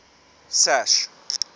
sash